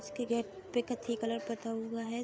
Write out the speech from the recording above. उसके गेट पे कथि कलर पुता हुआ है।